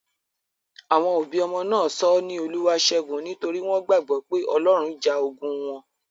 Àwọn òbí ọmọ náà sọ ọ́ ní 'Olúwaáṣẹ́gun' nítorí wọ́n gbàgbọ́ pé Ọlọ́run ja ogun wọn.